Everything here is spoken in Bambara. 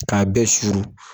K'a bɛ suru